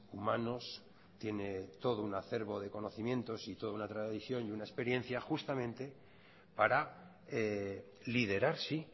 humanos tiene todo un acervo de conocimientos y toda una tradición y una experiencia justamente para liderar sí